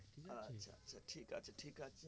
আচ্ছা আচ্ছা ঠিক আছে ঠিক আছে